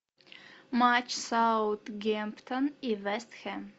матч саутгемптон и вест хэм